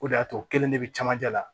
O de y'a to kelen de bɛ cɛmancɛ la